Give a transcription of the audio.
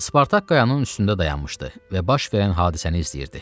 Spartak qayanın üstündə dayanmışdı və baş verən hadisəni izləyirdi.